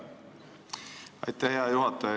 Aitäh, hea juhataja!